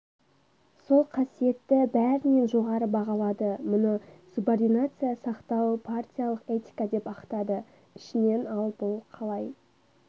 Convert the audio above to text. сол қасиетті бәрінен жоғары бағалады мұны субординация сақтау партиялық этика деп ақтады ішінен ал бұл қалай